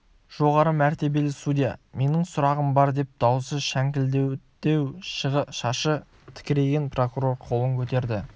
жоғары мәртебелі судья менің сұрағым бар деп дауысы шәңкілдектеу шашы тікірейген прокурор қолын көтерді